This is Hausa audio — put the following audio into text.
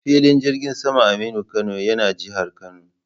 Filin jirgin saman Aminu Kano yana jihar Kano.